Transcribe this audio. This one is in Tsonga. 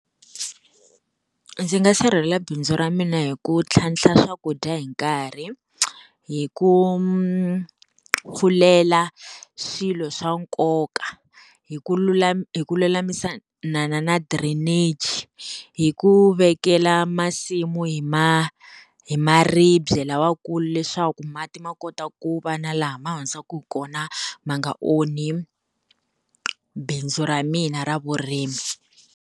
Ndzi nga sirhelela bindzu ra mina hi ku tlhantlha swakudya hi nkarhi, hi ku pfulela swilo swa nkoka, hi ku lulama hi ku lulamisa na na na drainage, hi ku vekela masimu hi hi maribye lamakulu leswaku mati ma kota ku va na laha ma hundzaka hi kona ma nga onhi bindzu ra mina ra vurimi.